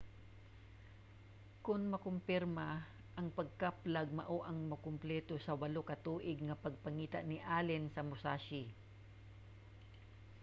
kon makumpirma ang pagkaplag mao ang mukompleto sa walo ka tuig nga pagpangita ni allen sa musashi